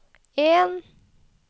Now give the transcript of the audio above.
en